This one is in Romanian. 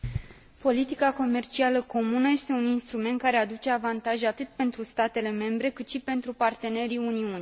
Politica comercială comună este un instrument care aduce avantaje atât pentru statele membre, cât și pentru partenerii Uniunii.